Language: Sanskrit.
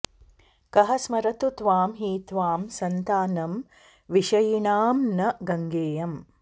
कः स्मरतु त्वां हि त्वां सन्तानं विषयिणां न गङ्गेयम्